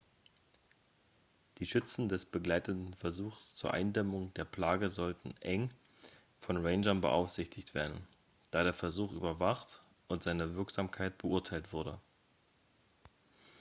die schützen des begleitenden versuchs zur eindämmung der plage sollten eng von rangern beaufsichtigt werden da der versuch überwacht und seine wirksamkeit beurteilt wurde